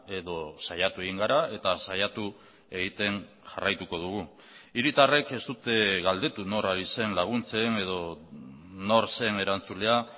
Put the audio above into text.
edo saiatu egin gara eta saiatu egiten jarraituko dugu hiritarrek ez dute galdetu nor ari zen laguntzen edo nor zen erantzulea